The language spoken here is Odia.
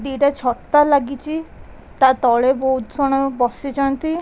ଦି ଟା ଛତା ଲାଗିଚି ତା ତଳେ ବହୁତ ସଣ ବସିଚନ୍ତି ।